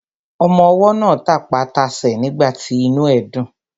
Ọmọwọ́ náà tapá tasẹ̀ nígbàtí inú ẹ̀ dùn.